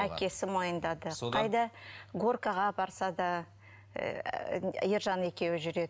әкесі мойындады горкаға апарса да ыыы ержан екеуі жүреді